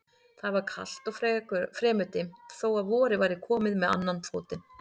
Það var kalt og fremur dimmt þó að vorið væri komið með annan fótinn.